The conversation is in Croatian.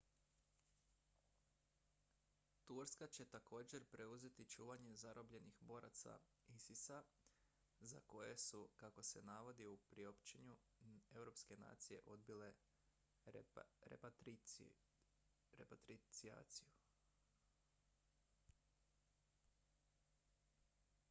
turska će također preuzeti čuvanje zarobljenih boraca isis-a za koje su kako se navodi u priopćenju europske nacije odbile repatrijaciju